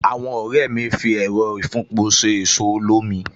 Àwọn ọ̀rẹ́ mi ń fi Ẹẹ̀rọ ìfúnpọ̀ ṣe ẹ̀so olómi